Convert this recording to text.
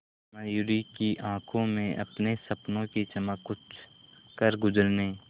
मयूरी की आंखों में अपने सपनों की चमक कुछ करगुजरने